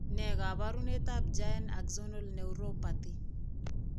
Ne kaabaunetap Giant Axonal Neuropathy?